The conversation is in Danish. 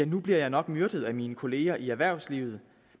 nu bliver jeg nok myrdet af mine kolleger i erhvervslivet